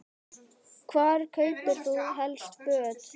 Hvar kaupir þú helst föt?